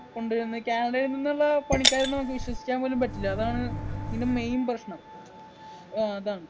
കൊണ്ട് വരുന്നത് കാനഡയിൽ നിന്നുള്ള പണിക്കാരെ ഒന്നും നമുക്ക് വിശ്വസിക്കാൻ പോലും പറ്റില്ല അതാണ് ഇതിൻ്റെ main പ്രശ്നം ആഹ് അതാണ്